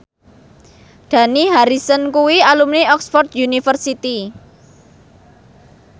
Dani Harrison kuwi alumni Oxford university